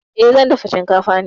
Eh, zan dafa shinkafa ne.